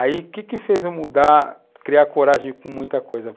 Aí o que fez eu mudar, criar coragem com muita coisa?